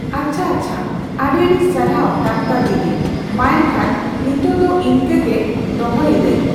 ᱟᱪᱪᱷᱟ, ᱟᱪᱪᱷᱟ᱾ ᱟᱹᱰᱤᱼᱟᱹᱰᱤ ᱥᱟᱨᱦᱟᱣ ᱰᱟᱠᱛᱟᱨ ᱫᱤᱫᱤ᱾ ᱢᱟ ᱮᱱᱠᱷᱟᱱ ᱱᱤᱛᱳᱜ ᱫᱚ ᱤᱱᱠᱟᱹ ᱜᱮ ᱫᱚᱦᱚᱭᱮᱫ ᱟᱹᱧ᱾